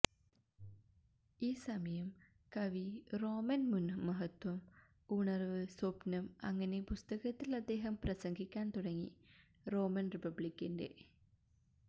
ഈ സമയം കവി റോമൻ മുൻ മഹത്വം ഉണർവ് സ്വപ്നം അങ്ങനെ പുസ്തകത്തിൽ അദ്ദേഹം പ്രസംഗിക്കാൻ തുടങ്ങി റോമൻ റിപ്പബ്ലിക്കിന്റെ